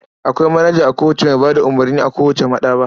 Akwai manaja a kowace mai ba da umurni a kowace maɗaba'a.